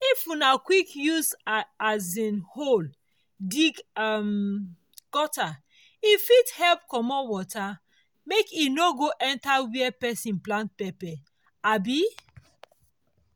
if una quick use um hoe dig um gutter e fit help comot water make e no go dey enter where person plant pepper. um